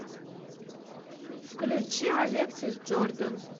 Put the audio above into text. включи алексис джордан